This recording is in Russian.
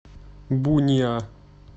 буниа